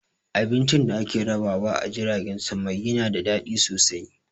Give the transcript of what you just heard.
Abincin da ake rabawa a jiragen sama yana da daɗi sosai